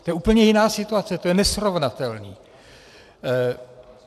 To je úplně jiná situace, to je nesrovnatelné.